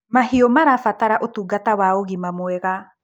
mahiũ marabatara ũtungata wa ũgima mwega